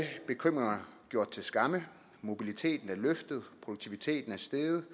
bekymringerne gjort til skamme mobiliteten er løftet produktiviteten er steget